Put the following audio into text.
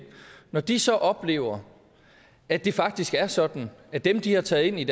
når de så oplever at det faktisk er sådan at dem de har taget ind i